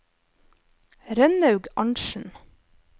Rønnaug Arntzen